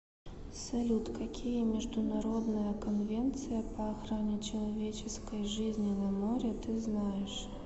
салют какие международная конвенция по охране человеческой жизни на море ты знаешь